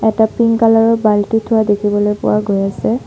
এটা pink colour ৰ বাল্টি থোৱা দেখিবলৈ পোৱা গৈ আছে।